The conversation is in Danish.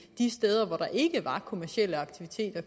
steder hvor der ikke var kommercielle aktiviteter